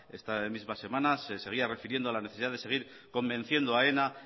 esta misma semana se seguía refiriendo a la necesidad de seguir convenciendo a aena